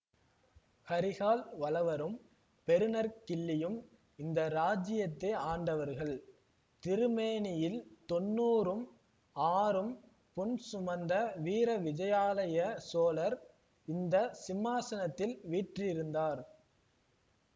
கரிகால் வளவரும் பெருநற்கிள்ளியும் இந்த ராஜ்யத்தை ஆண்டவர்கள் திருமேனியில் தொண்ணூறும் ஆறும் புண் சுமந்த வீர விஜயாலய சோழர் இந்த சிம்மாசனத்தில் வீற்றிருந்தார்